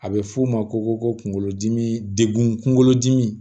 A bɛ f'o ma ko kunkolodimi degun kunkolodimi